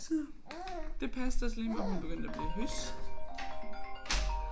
Så det passede også lige med at hun begyndte at blive hys